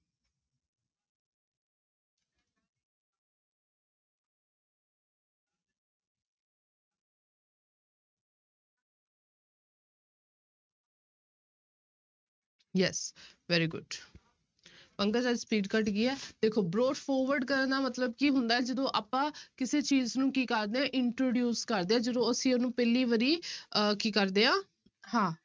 Yes very good Pankaj ਅੱਜ speed ਘੱਟ ਗਈ ਹੈ ਦੇਖੋ broad forward ਕਰਨ ਦਾ ਮਤਲਬ ਕੀ ਹੁੰਦਾ ਹੈ, ਜਦੋਂ ਆਪਾਂ ਕਿਸੇ ਚੀਜ਼ ਨੂੰ ਕੀ ਕਰਦੇ ਹਾਂ introduce ਕਰਦੇ ਹਾਂ ਜਦੋਂ ਅਸੀਂ ਉਹਨੂੰ ਪਹਿਲੀ ਵਾਰੀ ਆਹ ਕੀ ਕਰਦੇ ਹਾਂ